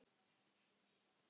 Þetta er almennt kallað ilsig